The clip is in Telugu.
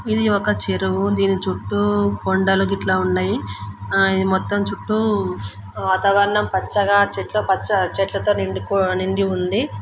ఇది ఒక చెరువు. దీని చుట్టూ కొండలు గిట్ల ఉన్నాయి. ఈ మొత్తం చుట్టూ వాతావరణం పచ్చగా చెట్ల పచ్చ చెట్ల తో నిండి ఉంది.